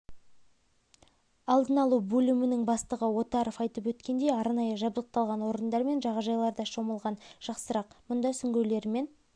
алдын алу бөлімінің бастығы отаров айтып өткендей арнайы жабдықталған орындар мен жағажайларда шомылған жақсырақ мұнда сүңгуірлермен